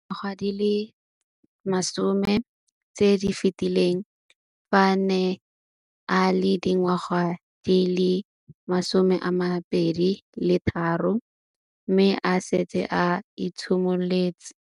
Dingwaga di le 10 tse di fetileng, fa a ne a le dingwaga di le 23 mme a setse a itshimoletse